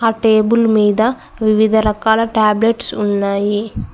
Table మీద వివిధ రకాల టాబ్లెట్స్ ఉన్నాయి.